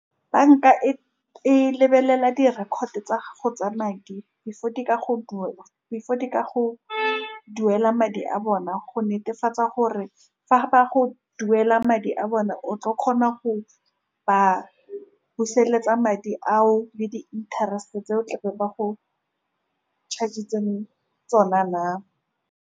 Banka e e lebelela di-record tsa gago tsa madi, before di ka go , before di ka go duela madi a bona, go netefatsa gore fa ba go duela madi a bone, o tla kgona go ba busetsa madi ao le di-interest-e tse o tlabeng ba go charge-tse tsona na.